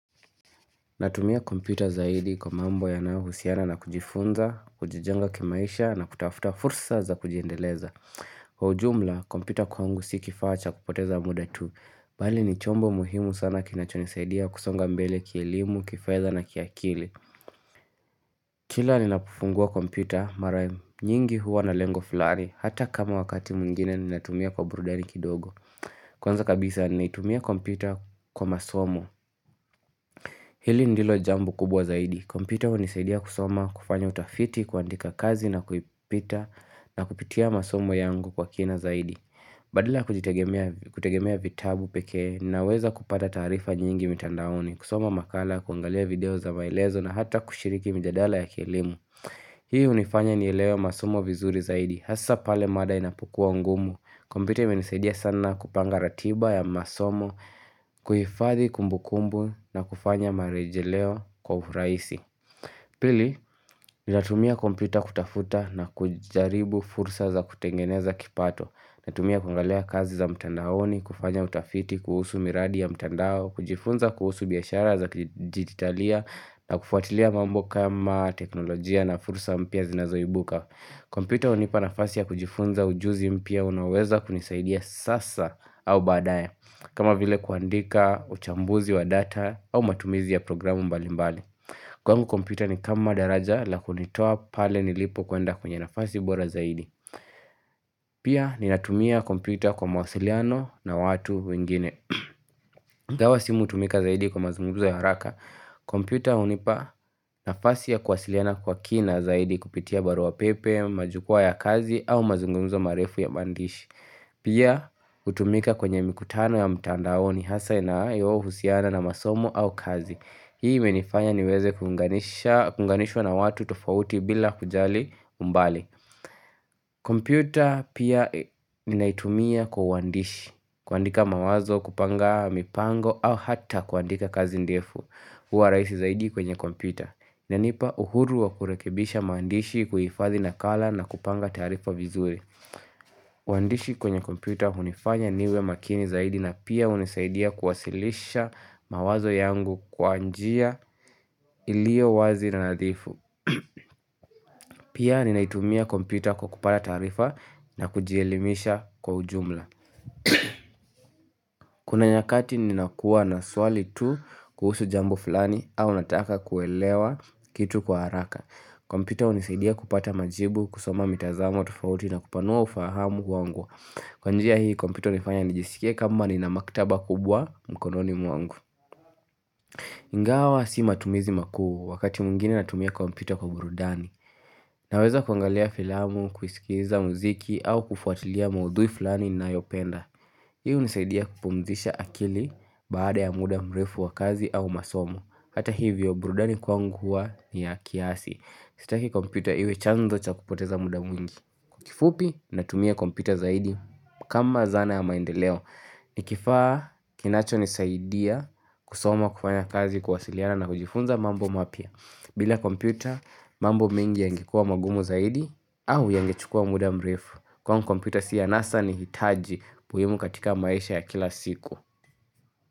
Natumia kompyuta zaidi kwa mambo yanayohusiana na kujifunza, kujijenga kimaisha na kutafuta fursa za kujiendeleza. Kwa ujumla, kompyuta kwangu si kifaa cha kupoteza muda tu. Bali ni chombo muhimu sana kinachonisaidia kusonga mbele kielimu, kifedha na kiakili. Kila ninafungua kompyuta, mara nyingi huwa na lengo flani, hata kama wakati mwingine ninatumia kwa burudani kidogo. Kwanza kabisa ni naitumia kompyuta kwa masomo. Hili ndilo jambo kubwa zaidi, kompyuta hunisaidia kusoma kufanya utafiti kuandika kazi na kuipita na kupitia masomo yangu kwa kina zaidi Badala ya kujitegemea vitabu pekee naweza kupata taarifa nyingi mitandaoni, kusoma makala, kuangalia video za maelezo na hata kushiriki mijadala ya kielimu Hii hunifanya nielewe masomo vizuri zaidi, hasa pale mada inapokua ngumu kompyuta imenisadia sana kupanga ratiba ya masomo, kuhifadhi kumbukumbu na kufanya marejeleo kwa urahisi. Pili, ninatumia kompyuta kutafuta na kujaribu fursa za kutengeneza kipato. Ninatumia kuangalia kazi za mtandaoni, kufanya utafiti, kuhusu miradi ya mtandao, kujifunza kuhusu biashara za kidijitalia na kufuatilia mambo kama teknolojia na fursa mpya zinazoimbuka. Kompyuta hunipa nafasi ya kujifunza ujuzi mpya unaoweza kunisaidia sasa au baadaye kama vile kuandika uchambuzi wa data au matumizi ya programu mbali mbali Kwangu kompyuta ni kama daraja la kunitoa pale nilipo kwenda kwenye nafasi bora zaidi Pia ninatumia kompyuta kwa mawasiliano na watu wengine ingawa simu hutumika zaidi kwa mazumgumzo ya haraka kompyuta hunipa nafasi ya kuwasiliana kwa kina zaidi kupitia barua pepe, majukwaa ya kazi au mazungumzo marefu ya maandishi Pia hutumika kwenye mikutano ya mtandaoni hasa inaayohusiana na masomo au kazi Hii imenifanya niweze kuunganishwa na watu tofauti bila kujali umbali kompyuta pia ninaitumia kwa uandishi kuandika mawazo, kupanga, mipango au hata kuandika kazi ndefu Hua rahisi zaidi kwenye kompyuta inanipa uhuru wa kurekebisha maandishi kuhifadhi nakala na kupanga taarifa vizuri uandishi kwenye kompyuta hunifanya niwe makini zaidi na pia hunisaidia kuwasilisha mawazo yangu kwa njia iliyo wazi na nadhifu Pia ninaitumia kompyuta kwa kupata taarifa na kujielimisha kwa ujumla Kuna nyakati ninakuwa na swali tu kuhusu jambo fulani au nataka kuelewa kitu kwa haraka kompyuta hunisaidia kupata majibu kusoma mitazamo tofauti na kupanua ufahamu wangu Kwa njia hii kompyuto hunifanya nijisikie kwamba nina maktaba kubwa mkononi mwangu Ingawa si matumizi makuu wakati mwingine natumia kompyuta kwa burudani Naweza kuangalia filamu, kuisikiza muziki au kufuatilia maudhui fulani ninayopenda Hio hunisaidia kupumzisha akili baada ya muda mrefu wa kazi au masomo Hata hivyo burudani kwangu hua niya kiasi Sitaki kompyuta iwe chanzo cha kupoteza muda mwingi kifupi natumia kompyuta zaidi kama zana ya maendeleo Nikifaa kinachonisaidia kusoma kufanya kazi kuwasiliana na kujifunza mambo mapya bila kompyuta mambo mingi yangekuwa magumu zaidi au yangechukua muda mrefu Kwangu mkompyuta si ya anasa nihitaji muhimu katika maisha ya kila siku.